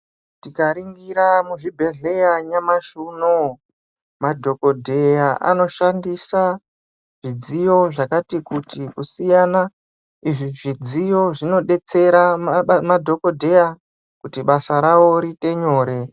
Tikaringira muzvibhedhlera nyamashi unouyu, madhogodheya anoshandisa zvidziyo zvakati kuti kusiyana. Izvi zvidziyo zvinobetsera madhogodheya kuti basa ravo riite nyore.